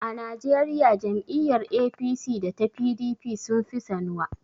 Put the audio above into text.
A Najeriya jam'iyyar APC da ta PDP sun fi sanuwa.